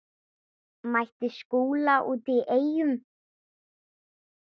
Mætti Skúla úti á Eyjum.